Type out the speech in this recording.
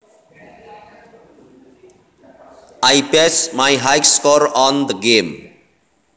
I bested my high score on the game